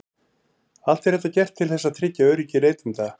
Allt er þetta gert til þess að tryggja öryggi neytenda.